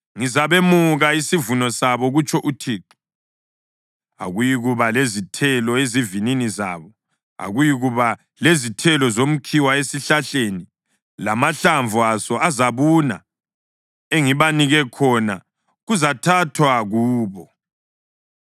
Ngizabemuka isivuno sabo, kutsho uThixo. Akuyikuba lezithelo ezivinini zabo. Akuyikuba lezithelo zomkhiwa esihlahleni, lamahlamvu aso azabuna. Engibanike khona kuzathathwa kubo.’ ”